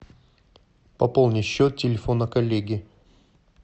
пополни счет телефона коллеги